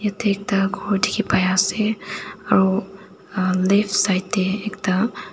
yatae ekta khor dikhipaiase aru uhh left side tae ekta--